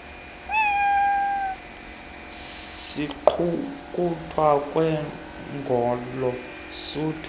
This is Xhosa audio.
siqulunqwa kwangolo suku